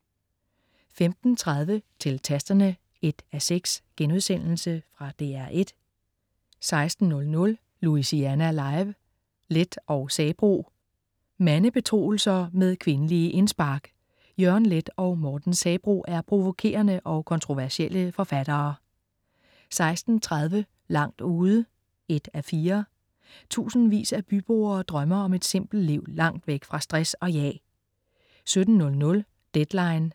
15.30 Til Tasterne 1:6.* Fra DR1 16.00 Louisiana Live: Leth og Sabroe. Mandebetroelser med kvindelige indspark: Jørgen Leth og Morten Sabroe er provokerende og kontroversielle forfattere 16.30 Langt ude 1:4. Tusindvis af byboere drømmer om et simpelt liv langt væk fra stress og jag 17.00 Deadline 17:00.